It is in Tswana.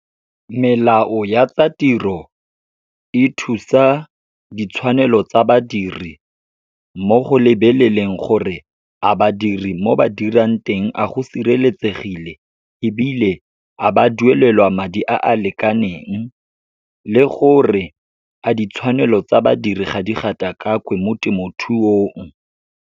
Melao ya tsa tiro e thusa ditshwanelo tsa badiri, mo go lebelelelang gore a badiri mo ba dirang teng, a go siretsegile ebile a ba duelelwa madi a a lekaneng, le gore a ditshwanelo tsa badiri ga di gatakakwe mo temothuong.